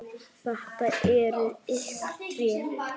Þetta eru ykkar tré.